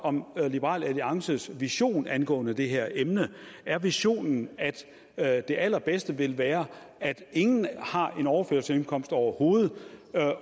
om liberal alliances vision angående det her emne er visionen at det allerbedste ville være at ingen har en overførselsindkomst overhovedet